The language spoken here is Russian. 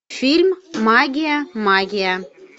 фильм магия магия